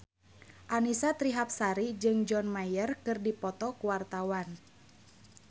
Annisa Trihapsari jeung John Mayer keur dipoto ku wartawan